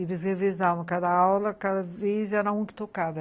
Eles revezavam cada aula, cada vez era um que tocava.